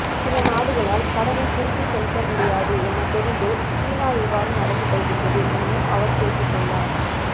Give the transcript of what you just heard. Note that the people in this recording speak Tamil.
சில நாடுகளால் கடனை திருப்பிசெலுத்த முடியாது என தெரிந்தே சீனா இவ்வாறு நடந்துகொள்கின்றது எனவும் அவர் குறிப்பிட்டுள்ளார்